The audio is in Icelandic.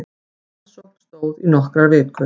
Rannsókn stóð í nokkrar vikur